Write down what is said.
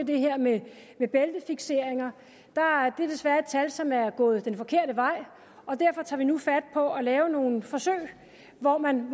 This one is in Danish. det her med bæltefikseringer det er desværre et tal som er gået den forkerte vej og derfor tager vi nu fat på at lave nogle forsøg hvor man